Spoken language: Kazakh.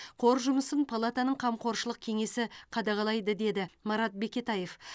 қор жұмысын палатаның қамқоршылық кеңесі қадағалайды деді марат бекетаев